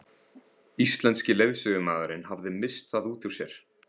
Íslenski leiðsögumaðurinn hafði misst það út úr sér.